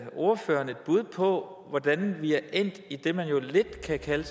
ordføreren et bud på hvordan vi er endt i det man jo lidt kan kalde